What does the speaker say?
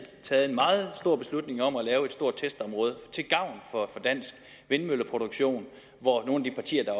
taget en meget stor beslutning om at lave et stort testområde til gavn for dansk vindmølleproduktion hvor nogle af de partier der